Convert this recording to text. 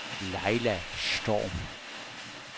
Laila Storm